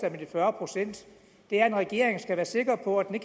om de fyrre procent det er at en regering skal være sikker på at den